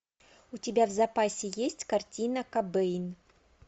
у тебя в запасе есть картина кобейн